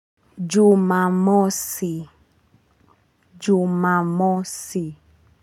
Jumamosi, Jumamosi.